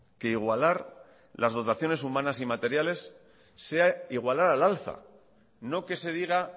que igualar las dotaciones humanas y materiales sea igualar al alza no que se diga